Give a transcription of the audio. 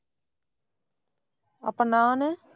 அப்ப, நானு?